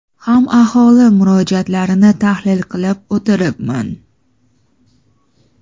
ham aholi murojaatlarini tahlil qilib o‘tiribman.